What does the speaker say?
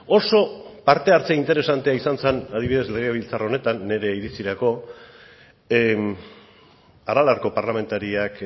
oso parte hartze interesantea izan zen adibidez legebiltzar honetan nire iritzirako aralarko parlamentariak